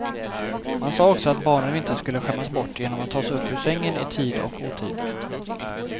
Man sa också att barnen inte skulle skämmas bort genom att tas upp ur sängen i tid och otid.